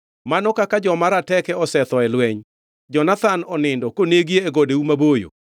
“Mano kaka joma rateke osetho e lweny! Jonathan onindo konegi e godeu maboyo.